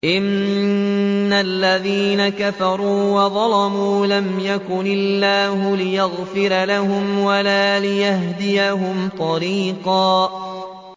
إِنَّ الَّذِينَ كَفَرُوا وَظَلَمُوا لَمْ يَكُنِ اللَّهُ لِيَغْفِرَ لَهُمْ وَلَا لِيَهْدِيَهُمْ طَرِيقًا